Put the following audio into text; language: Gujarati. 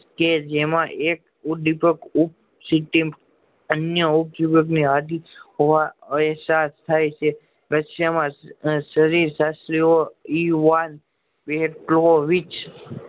કે જેમાં એક ઓડીફક સિક્કિમ અન્ય હોય એહસાસ થાય છે રસીયામાં શરીર શાસ્ત્રી ઓ જેમાં એક